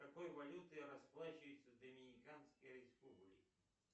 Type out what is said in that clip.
какой валютой расплачиваются в доминиканской республике